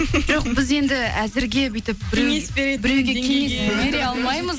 жоқ біз енді әзірге бүйтіп біреуге кеңес бере алмаймыз